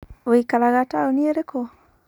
Wikaraga taũni ĩrĩkũ?